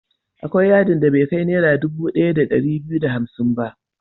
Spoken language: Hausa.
Akwai yadin da bai kai Naira dubu ɗaya da ɗari biyu da hamsin ba.